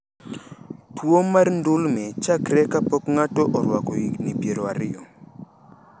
Tuo mar ndulme jachakre kapok ng`ato orwako higni piero ariyo.